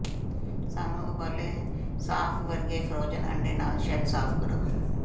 ਸਾਨੂੰ ਉਬਾਲੇ ਸਾਫ਼ ਵਰਗੇ ਫ਼੍ਰੋਜ਼ਨ ਅੰਡੇ ਨਾਲ ਸ਼ੈੱਲ ਸਾਫ਼ ਕਰੋ